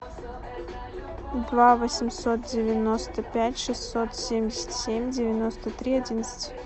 два восемьсот девяносто пять шестьсот семьдесят семь девяносто три одиннадцать